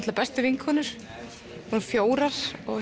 bestu vinkonur fjórum